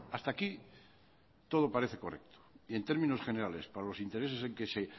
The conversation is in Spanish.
hasta aquí todo parece correcto y en términos generales para los intereses en que se